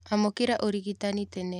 Amũkĩra ũrigitani tene.